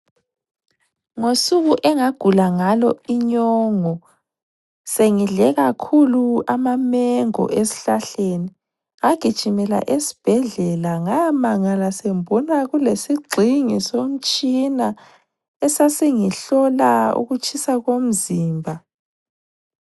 Ngosuku engagula ngalo inyongo sengidle kakhulu amamengo esihlahleni, ngagijimela esibhedlela. Ngayamangala sengibona kulesigxingi somtshina esasingihlola ukutshisa komzimba.